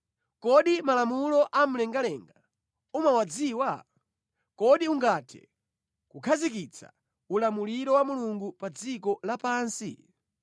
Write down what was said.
Kodi malamulo a mlengalenga umawadziwa? Kodi ungathe kukhazikitsa ulamuliro wa Mulungu pa dziko lapansi?